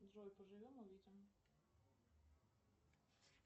джой поживем увидим